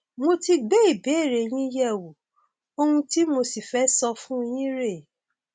mo ti gbé ìbéèrè yín yẹwò ohun tí mo sì fẹ sọ fún yín rèé